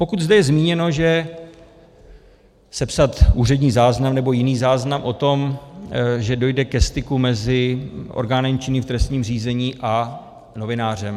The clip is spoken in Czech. Pokud zde je zmíněno, že sepsat úřední záznam nebo jiný záznam o tom, že dojde ke styku mezi orgánem činným v trestním řízení a novinářem.